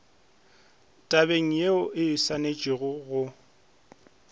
tabeng ye o swanetšego go